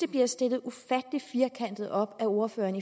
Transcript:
bliver stillet ufattelig firkantet op af ordføreren